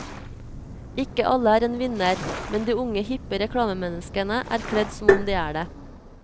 Ikke alle er en vinner, men de unge hippe reklamemenneskene er kledd som om de er det.